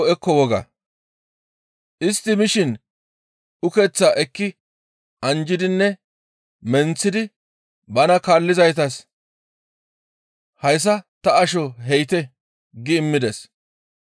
Istti mishin ukeththaa ekki anjjidinne menththidi bana kaallizaytas, «Hayssa ta asho he7ite» gi immides.